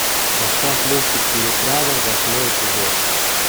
поставь мультик переправа восьмой эпизод